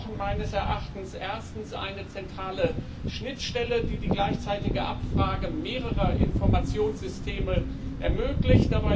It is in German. Wir brauchen meines Erachtens erstens eine zentrale Schnittstelle, die die gleichzeitige Abfrage mehrerer Informationssysteme ermöglicht.